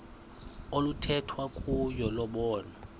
oluthethwa kuyo lobonwa